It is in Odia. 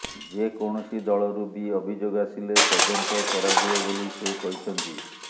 ଯେକୌଣସି ଦଳରୁ ବି ଅଭିଯୋଗ ଆସିଲେ ତଦନ୍ତ କରାଯିବ ବୋଲି ସେ କହିଛନ୍ତି